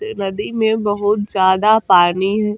नदी में बहुत ज्यादा पानी ह --